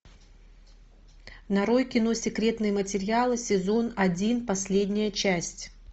нарой кино секретные материалы сезон один последняя часть